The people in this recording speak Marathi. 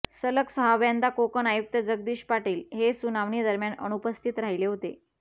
सलग सहाव्यांदा कोकण आयुक्त जगदीश पाटील हे सुनावणी दरम्यान अनुपस्थित राहिले आहेत